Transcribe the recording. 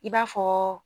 I b'a fɔ